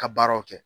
Ka baaraw kɛ